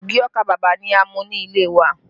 Ogi ọkà bàbà ni a ń mú nílé wa